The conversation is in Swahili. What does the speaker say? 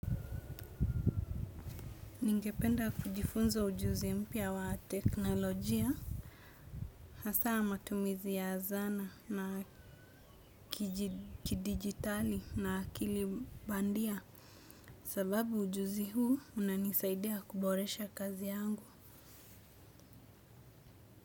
Ningependa kujifunza ujuzi mpya wa teknolojia, hasa matumizi ya zana na kidigitali na kilibandia. Sababu ujuzi huu unanisaidia kuboresha kazi yangu.